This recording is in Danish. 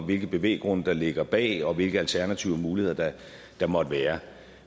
hvilke bevæggrunde der ligger bag og hvilke alternative muligheder der måtte være